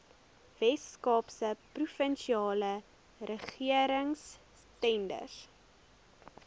weskaapse provinsiale regeringstenders